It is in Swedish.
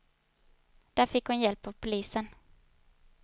Där fick hon hjälp av polisen.